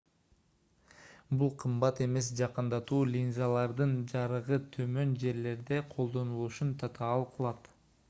бул кымбат эмес жакындатуу линзалардын жарыгы төмөн жерлерде колдонулушун татаал кылат